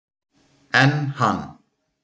Enn hann